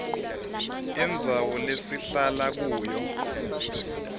indzawo lesihlala kuyo